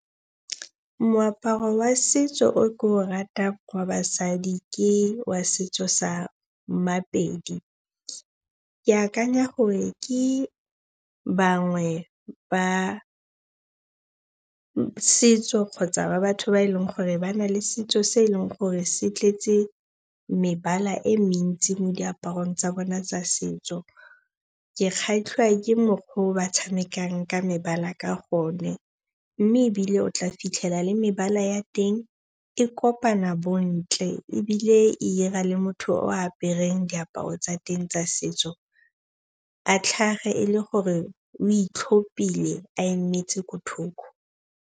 Moaparo wa setso o ke o ratang wa basadi ke wa setso sa Mapedi. Ke akanya gore ke bangwe ba setso kgotsa ba batho ba e leng gore ba na le setso se e leng gore se tletse mebala e mentsi mo diaparong tsa bona tsa setso. Ke kgatlhiwa ke mokgwa o ba tshamekang ka mebala ka gone. Mme ebile o tla fitlhela le mebala ya teng e kopana bontle ebile e 'ira le motho o apereng diaparo tsa teng tsa setso a tlhage e le gore o itlhopile a emetse ko thoko.